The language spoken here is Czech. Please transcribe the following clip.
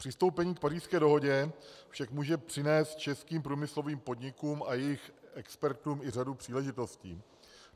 Přistoupení k Pařížské dohodě však může přinést českým průmyslovým podnikům a jejich expertům i řadu příležitostí.